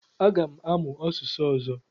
Aga m amụ asụsụ ọzọ.